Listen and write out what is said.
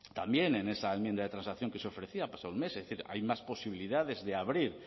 también en esa enmienda de transacción que se ofrecía ha pasado un mes es decir hay más posibilidades de abrir